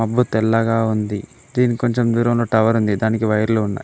బ్బు తెల్లగా ఉంది దీనికి కొంచెం దూరం లో టవర్ ఉంది దానికి వైర్లు ఉన్నాయ్.